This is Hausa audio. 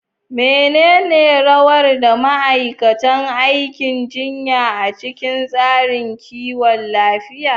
Menene rawar da ma'aikatan aikin jinya a cikin tsarin kiwon lafiya?